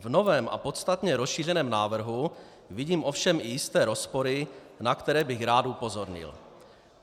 V novém a podstatně rozšířeném návrhu vidím ovšem i jisté rozpory, na které bych rád upozornil.